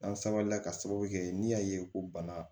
N'an sabalila ka sababu kɛ n'i y'a ye ko bana